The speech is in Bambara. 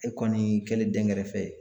E kɔni kɛlen dɛnkɛrɛfɛ ye.